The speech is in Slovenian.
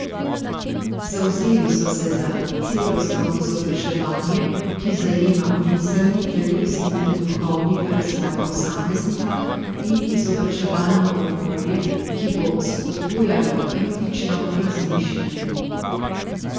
Zavzeli so se za celostno izobraževanje, ki zajema miselni, telesni in duhovni razvoj posameznika, in izobraževalno okolje, ki bo spodbujalo kritično razmišljanje.